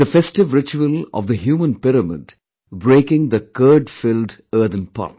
the festive ritual of the human pyramid breaking the curd filled earthen pot